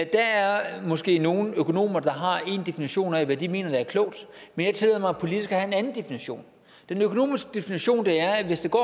der er måske nogle økonomer der har én definition af hvad de mener der er klogt men jeg tillader mig politisk at have en anden definition den økonomiske definition er at hvis det går